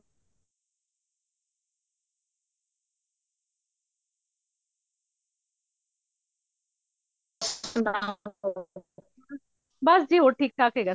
ਬਸਜੀ ਹੋਰ ਠੀਕ ਠਾਕ ਹੇਗਾ